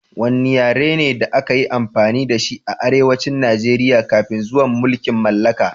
Wanne yare ne da aka yi amfani da shi a arewacin Najeriya kafin zuwan mulkin mallaka?